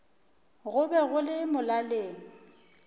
go be go le molaleng